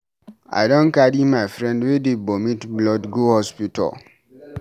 I don carry my friend wey dey vomit blood go hospital.